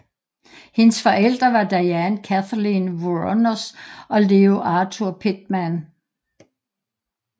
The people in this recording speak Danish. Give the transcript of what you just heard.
Hendes forældre var Diane Kathleen Wuornos og Leo Arthur Pittman